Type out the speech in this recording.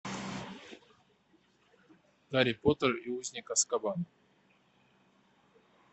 гарри поттер и узник азкабана